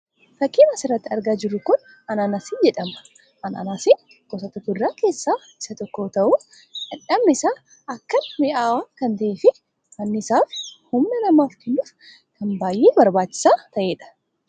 Fakkiin as irratti argaa jirru kun anaanasii jedhama. Anaanasiin gosoota kuduraa keessaa isa tokko yoo ta'u, dhandhamni isaa akkaan mi'aawaa kan ta'ee fi anniisaa fi humna namaaf kennuuf kan baay'ee barbaachisaa ta'ee dha.